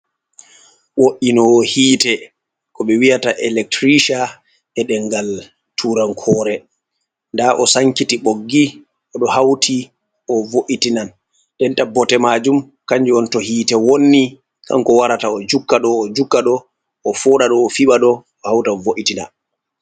Wo’inowo hiite ko be wi'ata electricia e ɗenmgal turankore, nda o sankiti ɓoggi odo hauti o vo’itinan, den ndenta bote majum kanju on to hite wonni kanko warata o jukka ɗo o juka ɗo o fooɗa ɗo o fiɓa ɗo o hauta o voitina.